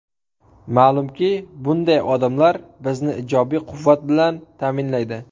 Ma’lumki, bunday odamlar bizni ijobiy quvvat bilan ta’minlaydi.